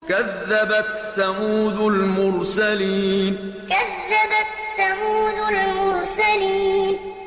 كَذَّبَتْ ثَمُودُ الْمُرْسَلِينَ كَذَّبَتْ ثَمُودُ الْمُرْسَلِينَ